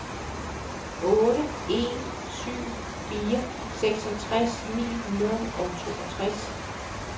otte en syv fire seksogtres ni hundrede og toogtres